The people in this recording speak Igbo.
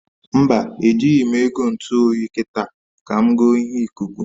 Mba, e jighi m ego ntu oyi kita, ka m goo ihe ikuku